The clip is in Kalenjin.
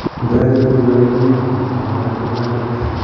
ngoyai chitugul kalewenenyin aku matikitoret